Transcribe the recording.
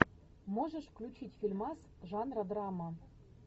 можешь включить фильмас жанра драма